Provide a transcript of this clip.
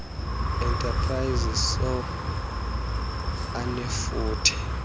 enterprises soe anefuthe